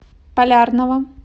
полярного